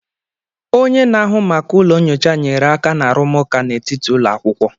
Onye na-ahụ maka ụlọ nyocha nyere aka na arụmụka n'etiti ụlọ akwụkwọ.